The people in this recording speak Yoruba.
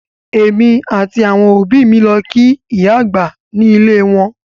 Èmi àti àwọn òbí mi lọ kí ìyá àgbà ní ilé e wọn